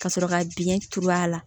Ka sɔrɔ ka biyɛn turu a la